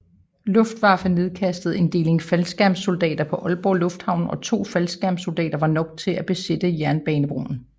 Luftwaffe nedkastede en deling faldskærmssoldater på Aalborg Lufthavn og to faldskærmssoldater var nok til at besætte jernbanebroen